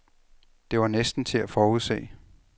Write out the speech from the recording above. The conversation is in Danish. Det var næsten til at forudse.